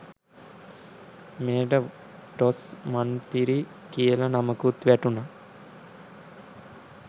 මෙයට ටොස් මන්තිරි කියල නමකුත් වැටුන.